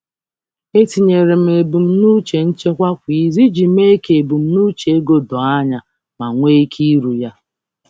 M na-etọ ebumnuche nchekwakwa izu iji mee ka ebumnuche ego m doo anya ma kwe omume.